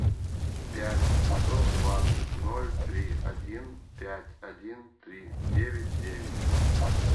пять восемьсот двадцать ноль три один пять один три девять девять